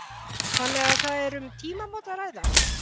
Þannig að það er um tímamót að ræða?